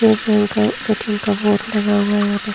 TET bank का ATM का board लगा हुआ है यहां पे ।